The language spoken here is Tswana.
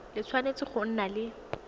le tshwanetse go nna le